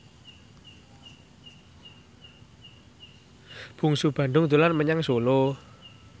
Bungsu Bandung dolan menyang Solo